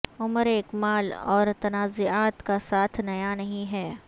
عمر اکمل اور تنازعات کا ساتھ نیا نہیں ہے